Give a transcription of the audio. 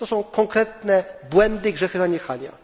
To są konkretne błędy i grzechy zaniechania.